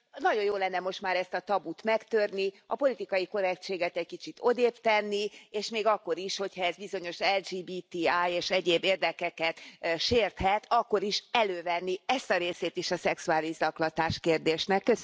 Nagyon jó lenne most már ezt a tabut megtörni, a politikai korrektséget egy kicsit odébb tenni, és még akkor is, hogyha ez bizonyos LMBTI és egyéb érdekeket sérthet akkor is elővenni ezt a részét is a szexuális zaklatás kérdésének.